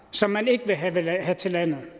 som man ikke ville have til landet men